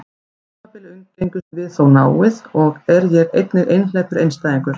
Á tímabili umgengumst við þó náið, og er ég einnig einhleypur einstæðingur.